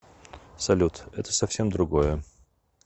салют это совсем другое